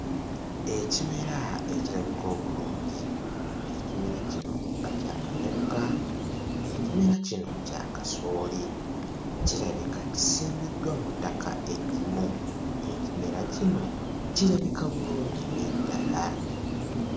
Ekimera ekirabika obulungi, ekimera kino nga kyakameruka, ekimera kino kya kasooli, kirabika kisimbiddwa mu ttaka eggimu ekimera kino kirabika bulungi nnyo ddala.